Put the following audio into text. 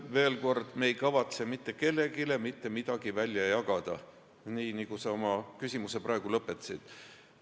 Veel kord, me ei kavatse mitte kellelegi mitte midagi välja jagada, nii nagu sa oma küsimuse praegu lõpetasid.